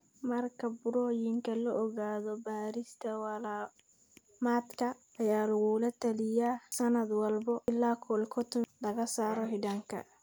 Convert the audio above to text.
Marka burooyinka la ogaado, baarista walamadka ayaa lagula taliyaa sanad walba ilaa colectomy (laga saaro xiidanka).